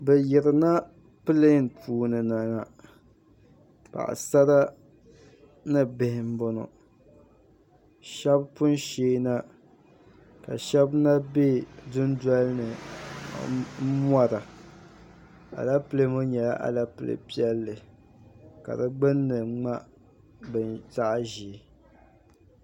Bɛ yirina pileeni puuni na ŋɔ paɣisara ni bihi m-bɔŋɔ shɛba pun sheei na ka shɛba na be dundoli ni m-mɔra alepile ŋɔ nyɛla alepile piɛlli ka di gbunni ŋma zaɣ'ʒee.